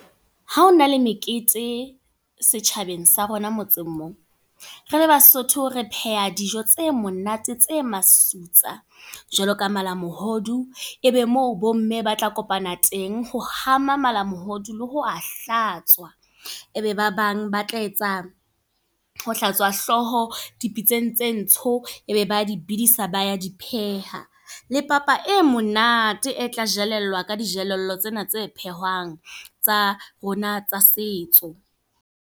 Ha hona le mekete, setjhabeng sa rona motseng mo. Re le Basotho re pheha dijo tse monate, tse masutsa. Jwalo ka malamohodu, ebe moo bo mme ba tla kopana teng ho hama malamohodu le ho a hlatswa. Ebe ba bang ba tla etsa, ho hlatswa hlooho dipitseng tse ntsho. Ebe ba dibidisa ba ya di pheha. Le papa e monate, e tla jelellwa ka dijelello tsena tse phehwang, tsa rona tsa setso.